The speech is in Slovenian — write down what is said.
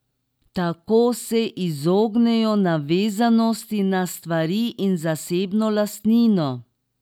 Tako se izognejo navezanosti na stvari in zasebno lastnino.